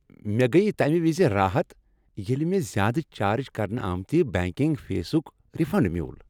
مےٚ گٔیۍ تمہ وز راحت ییٚلہ مےٚ زیادٕ چارج کرنہٕ آمتِہ بینکنگ فیسک ریفنڈ میول۔